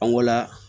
An ko la